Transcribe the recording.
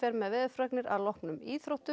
með veðurfregnir að loknum íþróttum